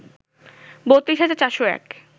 ৩২ হাজার ৪০১